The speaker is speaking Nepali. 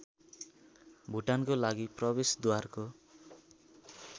भुटानको लागि प्रवेशद्वारको